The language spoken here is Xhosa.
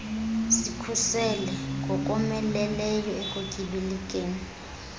zikhuseleke ngokomeleleyo ekutyibilikeni